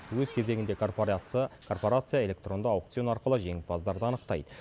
өз кезегінде корпорация электронды аукцион арқылы жеңімпаздарды анықтайды